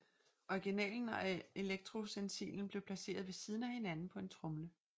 Originalen og elektrostencilen blev placeret ved siden af hinanden på en tromle